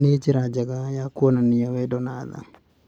Nĩ njĩra njega ya kuonania wendo na tha.